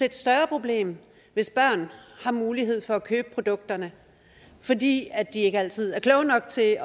et større problem hvis børn har mulighed for at købe produkterne fordi de ikke altid er kloge nok til at